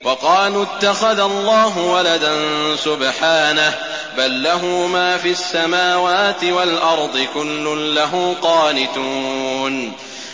وَقَالُوا اتَّخَذَ اللَّهُ وَلَدًا ۗ سُبْحَانَهُ ۖ بَل لَّهُ مَا فِي السَّمَاوَاتِ وَالْأَرْضِ ۖ كُلٌّ لَّهُ قَانِتُونَ